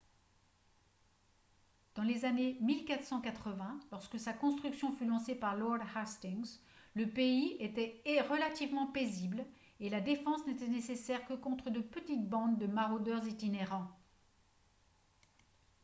dans les années 1480 lorsque sa construction fut lancée par lord hastings le pays était relativement paisible et la défense n'était nécessaire que contre de petites bandes de maraudeurs itinérants